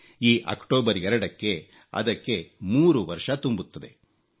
ಈ ಅಕ್ಟೋಬರ್ 2ಕ್ಕೆ ಅದಕ್ಕೆ 3 ವರ್ಷ ತುಂಬುತ್ತವೆ